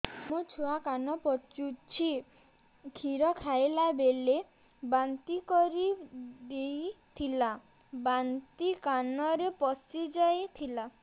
ମୋ ଛୁଆ କାନ ପଚୁଛି କ୍ଷୀର ଖାଇଲାବେଳେ ବାନ୍ତି କରି ଦେଇଥିଲା ବାନ୍ତି କାନରେ ପଶିଯାଇ ଥିଲା